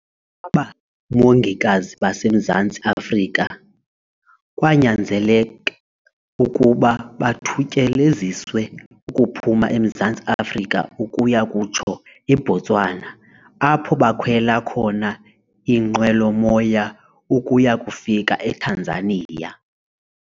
Aba mongikazi baseMzantsi Afrika kwanyanzeleka ukuba bathutyeleziswe ukuphuma eMzantsi Afrika ukuya kutsho eBotswana, apho bakhwela khona iinqwelo-moya ukuya kufika eTanzania.